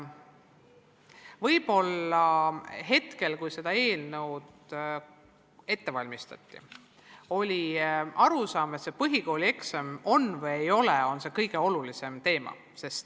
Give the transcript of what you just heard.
Võib-olla hetkel, kui seda eelnõu ette valmistati, oli valdav arusaam, et kõige olulisem teema on see, kas põhikoolieksam on või ei ole.